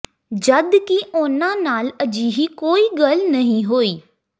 ਜਦ ਕਿ ਉਨ੍ਹਾਂ ਨਾਲ ਅਜਿਹੀ ਕੋਈ ਗੱਲ ਨਹੀਂ ਹੋਈ